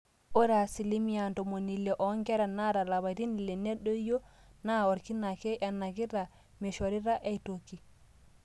ore asilimia ntomoni ile oonkera naata ilapaitin ile nedoyio naa orkina ake enakita meishoritai aitoki